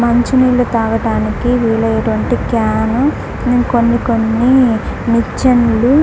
మంచినీళ్లు తాగడానికి వీలయ్యేటట్టు క్యాన్లు కొన్ని కొన్ని నిచ్చెనలు.